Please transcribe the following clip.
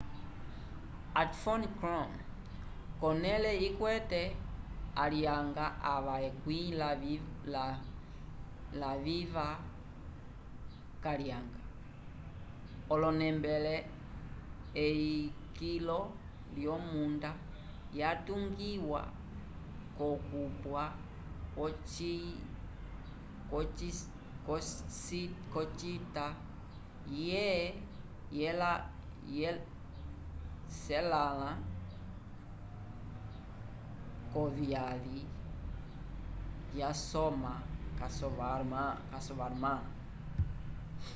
ati phom krom konele ikwete alyanga ava ekwĩ laviva kalyanga onembele eyi kilo lyomunda ya tungiwa kokupwa kwo cita ye celãnlã kuvyyali ya soma yasovarman